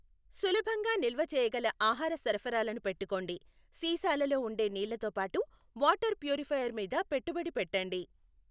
సులభంగా నిల్వ చేయగల ఆహార సరఫరాలను పెట్టుకోండి, సీసాలలో ఉండే నీళ్ళతో పాటు వాటర్ ప్యూరిఫైయర్ మీద పెట్టుబడి పెట్టండి.